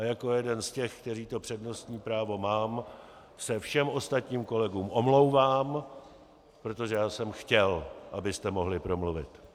A jako jeden z těch, kteří to přednostní právo mám, se všem ostatním kolegům omlouvám, protože já jsem chtěl, abyste mohli promluvit.